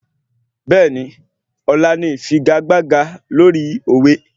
Bẹ́ẹ̀ni, ọ̀la ni ìfigagbága lórí òwe